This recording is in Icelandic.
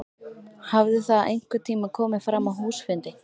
Hafði það einhvern tíma komið fram á húsfundi?